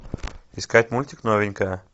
искать мультик новенькая